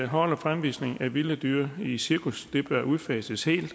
hold og fremvisning af vilde dyr i cirkus bør udfases helt